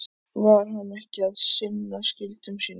Var hann ekki að sinna skyldum sínum?